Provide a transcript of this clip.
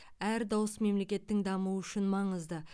әр дауыс мемлекеттің дамуы үшін маңызды